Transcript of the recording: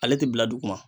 Ale tɛ bila duguma